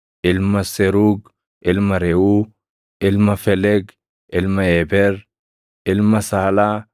ilma Seruug, ilma Reʼuu, ilma Feleg, ilma Eeber, ilma Saalaa,